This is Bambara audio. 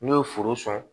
N'o ye foro sɔrɔ